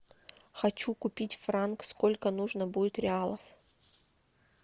хочу купить франк сколько нужно будет реалов